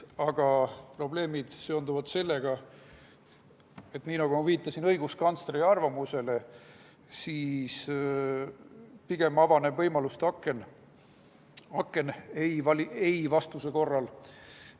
Aga probleemid seonduvad sellega, ma ka viitasin õiguskantsleri arvamusele, et pigem avaneb võimaluste aken ei‑vastuse korral.